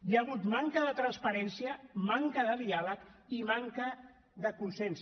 hi ha hagut manca de transparència manca de diàleg i manca de consens